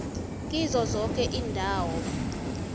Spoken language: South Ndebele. kizo zoke iindawo